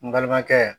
N balimakɛ